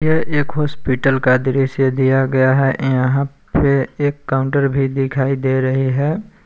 ये एक हॉस्पिटल का दृश्य दिया गया है यहां पे एक काउंटर भी दिखाई दे रही है।